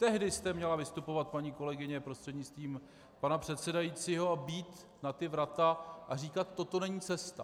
Tehdy jste měla vystupovat, paní kolegyně prostřednictvím pana předsedajícího, a bít na ta vrata a říkat: Toto není cesta.